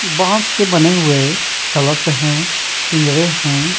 बांस के बने हुए कलश है पिंजरे हैं।